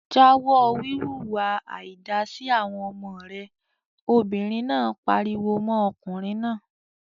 "Jáwọ́ wíwu ìwà àìda sí àwọn ọmọ rẹ!" Obìnrin náà pariwo mọ́ ọkùnrin náà.